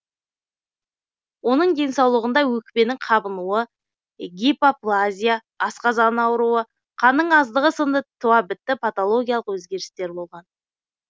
оның денсаулығында өкпенің қабынуы гипоплазия асқазан ауруы қанның аздығы сынды туабітті патологиялық өзгерістер болған